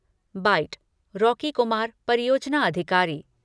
bite Rocky Kumar, परियोजना अधिकारी